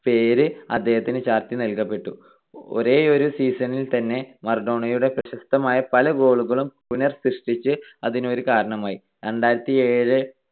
പേര് അദ്ദേഹത്തിന് ചാർത്തി നൽകപ്പെട്ടു. ഒരേയൊരു season ൽ തന്നെ മറഡോണയുടെ പ്രശസ്തമായ പല goal കളും പുനഃസൃഷ്ടിച്ചത് അതിനൊരു കാരണമായി. രണ്ടായിരത്തിയേഴ്